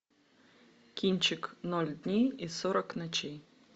кинчик ноль дней и сорок ночей